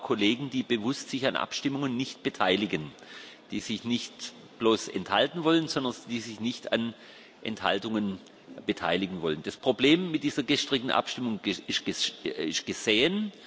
Es gibt auch Kollegen, die sich bewusst an Abstimmungen nicht beteiligen die sich nicht bloß enthalten wollen, sondern die sich nicht an Enthaltungen beteiligen wollen. Das Problem mit dieser gestrigen Abstimmung ist gesehen.